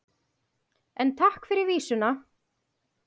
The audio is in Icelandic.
En takk fyrir vísuna!